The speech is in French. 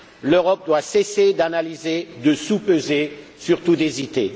L'Europe doit cesser d'analyser, de soupeser, et surtout d'hésiter.